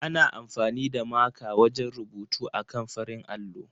Ana amfani da maka wajen rubutu akan farin allo.